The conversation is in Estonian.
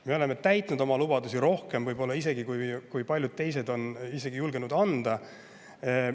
Me oleme täitnud oma lubadusi isegi rohkem, kui paljud teised on julgenud neid anda.